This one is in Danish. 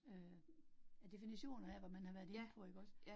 Øh ja definitionerne af, hvad man har været inde på ikke også